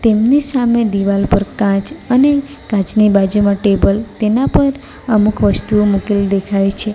તેમની સામે દિવાલ પર કાચ અને કાચની બાજુમાં ટેબલ તેના પર અમુક વસ્તુઓ મુકેલી દેખાય છે.